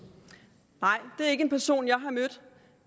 en person